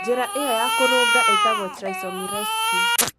Njĩra ĩyo ya kũrũnga ĩĩtagwo trisomy rescue.